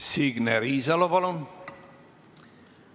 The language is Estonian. Signe Riisalo, palun!